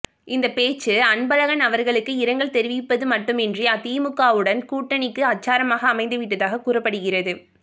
இந்த பேச்சு அன்பழகன் அவர்களுக்கு இரங்கல் தெரிவிப்பது மட்டுமின்றி திமுகவுடன் கூட்டணிக்கு அச்சாரமாக அமைந்து விட்டதாக கூறப்படுகிறது